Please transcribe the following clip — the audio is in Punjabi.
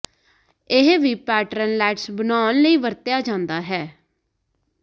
ਇਹ ਵੀ ਪੈਟਰਨ ਲੈਟਸ ਬਣਾਉਣ ਲਈ ਵਰਤਿਆ ਜਾਂਦਾ ਹੈ